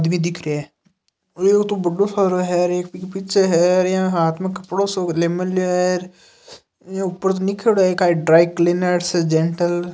TV दिख रहिया है ए ओ बढ़ो सारो हेर एक बी पीछे हेर यहां हाथ में कपड़ो सो क ले मेल्यो हेर इ ऊपर लिख्योड़ो है कई ड्राई क्लीनर्स जेन्टल ।